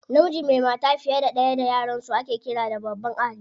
Namiji mai mata fiye da ɗaya da yaransu ake ƙira da babban ahali.